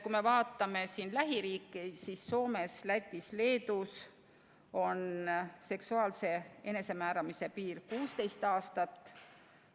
Kui me vaatame lähiriike, siis Soomes, Lätis ja Leedus on seksuaalse enesemääramise piir 16 aastat.